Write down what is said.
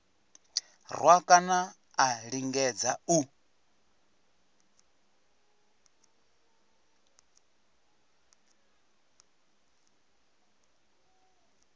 rwa kana a lingedza u